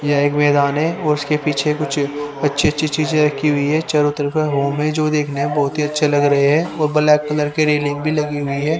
यह एक मैदान है उसके पीछे कुछ अच्छी अच्छी चीजें रखी हुई है चारों तरफ मुंह में जो देखते हैं बहुत ही अच्छे लग रहे हैं वह ब्लैक कलर की रेलिंग भी लगी हुई है।